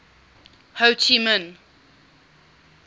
ho chi minh